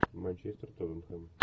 манчестер тоттенхэм